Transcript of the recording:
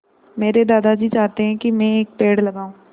मेरे दादाजी चाहते हैँ की मै एक पेड़ लगाऊ